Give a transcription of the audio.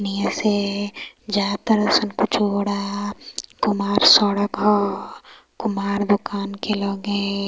ईहा से जा ताने सब पिछोड़ा कुमार सड़क ह कुमार दुकान के लगे |